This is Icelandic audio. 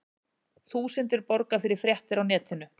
Þúsundir borga fyrir fréttir á netinu